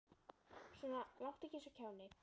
Svona láttu ekki eins og kjáni.